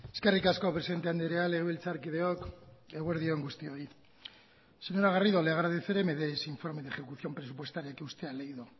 eskerrik asko presidente andrea legebiltzarkideok eguerdi on guztioi señora garrido le agradeceré me dé ese informe de ejecución presupuestaria que usted ha leído